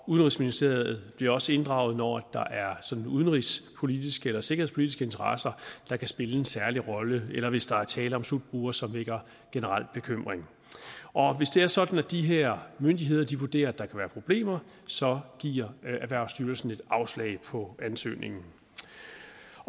udenrigsministeriet bliver også inddraget når der er udenrigspolitiske eller sikkerhedspolitiske interesser der kan spille en særlig rolle eller hvis der er tale om slutbrugere som vækker generel bekymring hvis det er sådan at de her myndigheder vurderer at der kan være problemer så giver erhvervsstyrelsen et afslag på ansøgningen